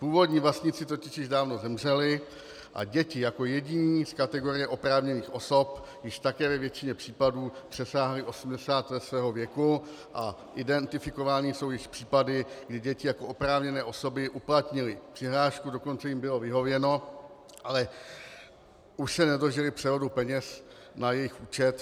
Původní vlastníci totiž již dávno zemřeli a děti jako jediní z kategorie oprávněných osob již také ve většině případů přesáhly 80 let svého věku a identifikovány jsou již případy, kdy děti jako oprávněné osoby uplatnily přihlášku, dokonce jim bylo vyhověno, ale už se nedožily převodu peněz na jejich účet.